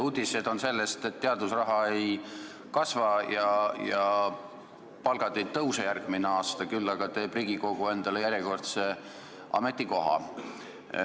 Uudised on selle kohta, et teadusraha ei kasva ja palgad ei tõuse järgmisel aastal, aga Riigikogu teeb endale järjekordse ametikoha.